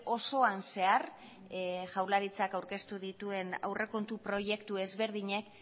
osoan zehar jaurlaritzak aurkeztu dituen aurrekontu proiektu ezberdinek